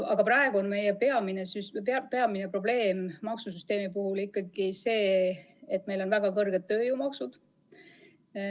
Aga praegu on meie peamine probleem maksusüsteemi puhul ikkagi see, et meil on väga suured tööjõumaksud.